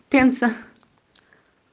пенза